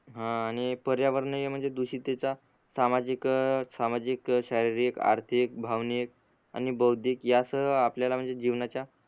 हा आणि पर्यावरणीय म्हणजे दुषितेचा सामाजिक अ सामाजिक, शारीरिक, आर्थिक, भावनिक आणि बौधिक यासह आपल्याला म्हणजे जीवनाचा